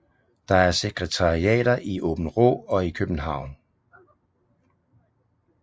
Der er sekretariater i Aabenraa og i København